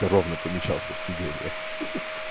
ровно помещался в сиденье ха ха